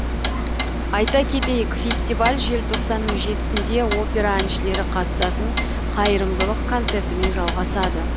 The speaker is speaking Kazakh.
айта кетейік фестиваль желтоқсанның жетісінде опера әншілері қатысатын қайырымдылық концертімен жалғасады